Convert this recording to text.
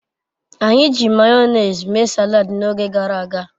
Anyi ji mayonezi mee salad n'oge garaga